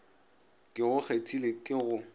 ke go kgethile ke go